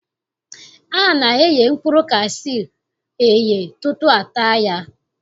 A na-eghe mkpụrụ kashuu eghe tutu a taa ya